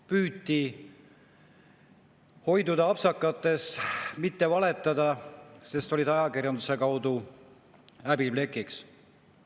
Püüti hoiduda apsakatest, mitte valetada, sest olid ajakirjanduse kaudu häbiplekiks.